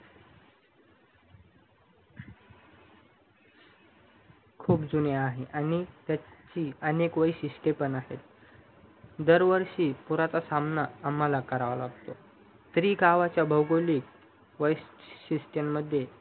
खूप जुनी आहे आणि त्याची खूप वैशिष्टे पण आहेत दरवर्षी पुरचा सामना आम्हाला करावा लागतो तरीही गावचा भैगोलिक वौशिष्ट्यमद्धे खूप